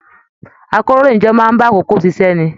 Àkòróyinjọ́ máa bá àkókò ṣiṣẹ ní.